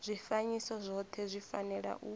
zwifanyiso zwothe zwi fanela u